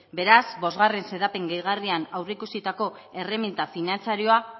beraz bosgarren xedapen gehigarrian aurreikusitako erreminta finantzarioa